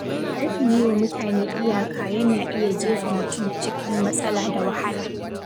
Rashin yiwa mutane iyaka yana iya jefa mutum cikin matsala da wahala.